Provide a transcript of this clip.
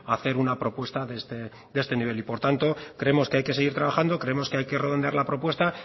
hacer una propuesta de este nivel y por tanto creemos que hay que seguir trabajando creemos que hay que redondear la propuesta